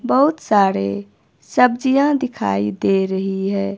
बहुत सारे सब्जियां दिखाई दे रही है।